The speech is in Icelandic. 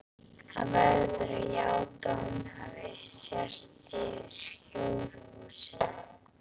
Hann verður að játa að honum hafi sést yfir hóruhúsin.